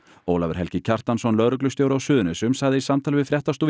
Ólafur Helgi Kjartansson lögreglustjóri á Suðurnesjum sagði í samtali við fréttastofu